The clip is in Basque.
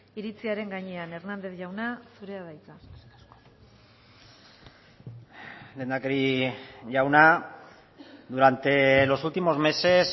iritziaren gainean hérnandez jauna zurea da hitza lehendakari jauna durante los últimos meses